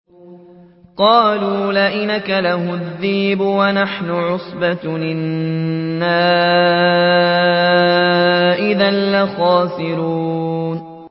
قَالُوا لَئِنْ أَكَلَهُ الذِّئْبُ وَنَحْنُ عُصْبَةٌ إِنَّا إِذًا لَّخَاسِرُونَ